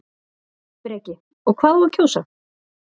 Breki: Og hvað á að kjósa?